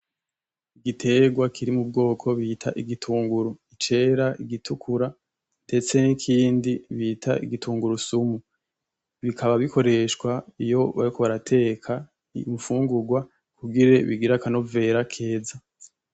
Igiterwa kiri mu bwoko bita igitunguru, cera, igitukura ndetse n’ikindi bita igitungurusumu. Bikaba bikoreshwa iyo bariko barateka infungurwa kugira bigire akanovera keza.